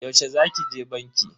Yaushe za ki je banki?